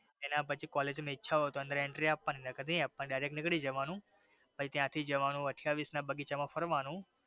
એના પછી કોલેજ માં ઈચ્છા હોઈ તો અંદર entry આપવાની નકર નાઈ આપવાની ડાયરેક્ટ નીકડી જવાનું પછી ત્યાંથી જવાનું અઠયાવીસ ના બગીચા માં ફરવાનું.